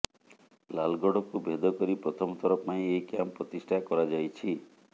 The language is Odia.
ଲାଲଗଡକୁ ଭେଦ କରି ପ୍ରଥମ ଥର ପାଇଁ ଏହି କ୍ୟାମ୍ପ ପ୍ରତିଷ୍ଠା କରାଯାଇଛି